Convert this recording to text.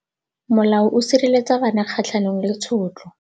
Molao o sireletsa bana kgatlhanong le tshotlo.